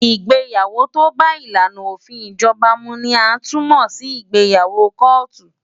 Ìgbéyàwó tó bá ìlànà òfin ìjọba mu ni a tún mọ̀ sí ìgbéyàwó kóòtù.